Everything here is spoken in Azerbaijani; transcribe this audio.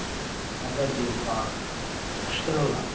milləti nə təhər deyim sizə sıxışdırırlar.